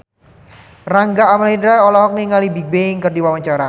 Rangga Almahendra olohok ningali Bigbang keur diwawancara